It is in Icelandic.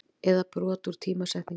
eða brot úr tímasetningu.